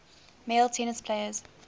male tennis players